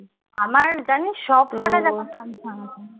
আমার জানিস সব কটা জামা কনফার্ম